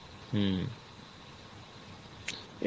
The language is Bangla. হম